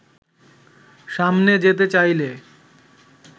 সামনে যেতে চাইলে